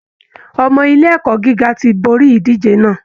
Ọmọ ilé ẹ̀kọ́ gíga ti borí ìdíje náà